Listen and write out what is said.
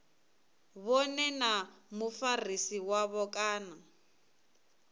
vhone na mufarisi wavho kana